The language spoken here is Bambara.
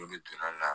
N'olu donna la